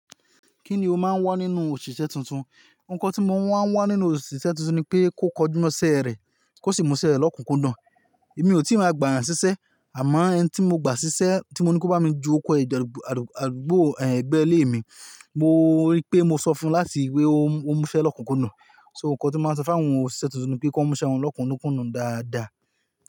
Kí ni o máa ń wá nínú òṣìṣẹ́ tuntun? Òun kan tí mo máa ń wá nínú òṣìṣẹ́ tuntun ni pé kó kọjú mọ́ṣẹ́ rẹ̀, kó sì múṣẹ́ rẹ̀ lọ́kùnkundu. Èmi ò tí ì máa gbà eeyan ṣiṣẹ́, àmọ́ ẹni tí mo gbà ṣiṣẹ́ tí mo ní kí ó bá mi ju ọkọ ẹgbẹ́ ilé mi, mo rí pé mo sọ fún láti wípé ó múṣẹ́ lọ́kùnkundun. So ǹ kan tí mo máa ń sọ fáwọn òṣìṣẹ́ tuntun ni pé kí wón múṣẹ́ wọn lọ́kùnkundun dáadáa.